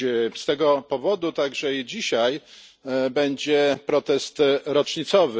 Z tego powodu także i dzisiaj będzie protest rocznicowy.